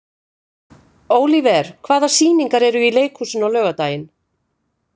Ólíver, hvaða sýningar eru í leikhúsinu á laugardaginn?